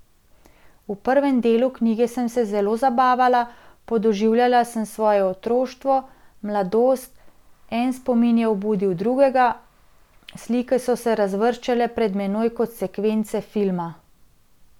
V prvem delu knjige sem se zelo zabavala, podoživljala sem svoje otroštvo, mladost, en spomin je obudil drugega, slike so se razvrščale pred menoj kot sekvence filma.